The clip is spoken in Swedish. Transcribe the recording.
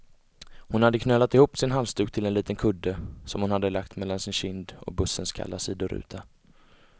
Hon hade knölat ihop sin halsduk till en liten kudde, som hon hade lagt mellan sin kind och bussens kalla sidoruta.